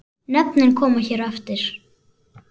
Nöfnin koma hér á eftir.